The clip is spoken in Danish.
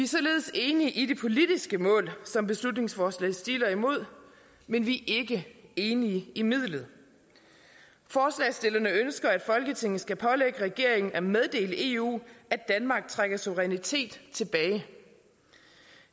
således enige i det politiske mål som beslutningsforslaget stiler imod men vi er ikke enige i midlet forslagsstillerne ønsker at folketinget skal pålægge regeringen at meddele eu at danmark trækker suverænitet tilbage